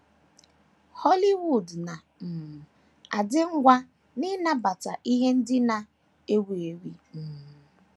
Hollywood na - um adị ngwa n’ịnabata ihe ndị na - ewu ewu.. um.. um